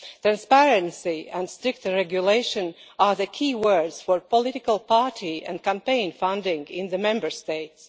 Transparency and stricter regulation are the key words for political party and campaign funding in the Member States.